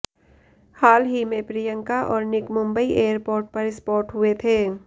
हाल ही में प्रियंका और निक मुंबई एयरपोर्ट पर स्पॉट हुए थे